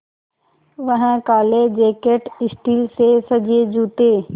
वह काले jacket steel से सजे जूते